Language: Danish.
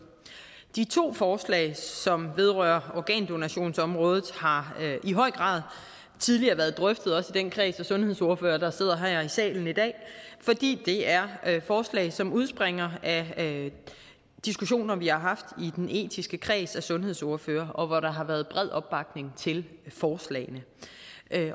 de to forslag som vedrører organdonationsområdet har i høj grad tidligere været drøftet også i den kreds af sundhedsordførere der sidder her i salen i dag fordi det er forslag som udspringer af diskussioner vi har haft i den etiske kreds af sundhedsordførere og hvor der har været bred opbakning til forslagene